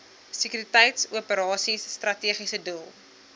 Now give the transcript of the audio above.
sekuriteitsoperasies strategiese doel